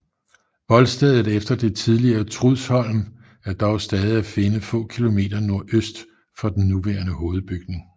Voldstedet efter det tidligere Trudsholm er dog stadig at finde få kilometer nordøst for den nuværende hovedbygning